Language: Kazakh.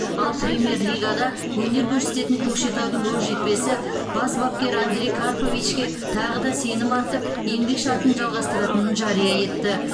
ал премьер лигада өнер көрсететін көкшетаудың оқжетпесі бас бапкер андрей карповичке тағы да сенім артып еңбек шартын жалғастыратынын жария етті